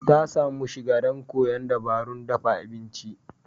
Ta samu shiga don koyon wasu dabarun dafa abinci.